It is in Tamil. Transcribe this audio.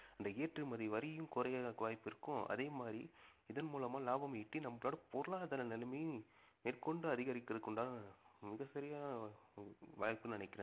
இந்த ஏற்றுமதி வரியும் குறைவதற்கு வாய்ப்பு இருக்கும் அதே மாதிரி இதன் மூலமா லாபம் ஈட்டி நம்மளோட பொருளாதார நிலைமையும் மேற்கொண்டு அதிகரிக்கிறதுக்கு உண்டான மிகச்சரியான வாய்ப்புன்னு நினைக்கிறேன்